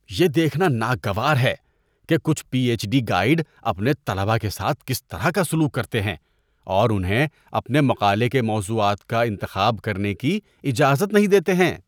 یہ دیکھنا ناگوار ہے کہ کچھ پی ایچ ڈی گائیڈ اپنے طلبہ کے ساتھ کس طرح کا سلوک کرتے ہیں اور انہیں اپنے مقالے کے موضوعات کا انتخاب کرنے کی اجازت نہیں دیتے ہیں۔